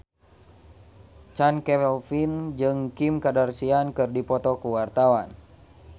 Chand Kelvin jeung Kim Kardashian keur dipoto ku wartawan